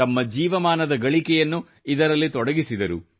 ತಮ್ಮ ಜೀವಮಾನದ ಗಳಿಕೆಯನ್ನು ಇದರಲ್ಲಿ ತೊಡಗಿಸಿದರು